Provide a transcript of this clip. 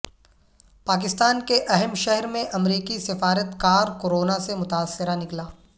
پاکستان کے اہم شہر میں امریکی سفارتکارکوروناسے متاثرہ نکلا